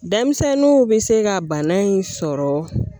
Denmisɛnninw bɛ se ka bana in sɔrɔ